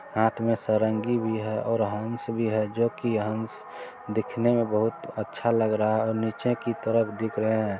हाथ में सरंगी है और हंस भी है जो की हंस दिखने में बहुत अच्छा लग रहा है ओ नीचे की तरफ दिख रहे हैं।